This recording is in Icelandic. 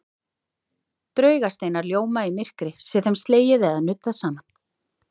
Draugasteinar ljóma í myrkri sé þeim slegið eða nuddað saman.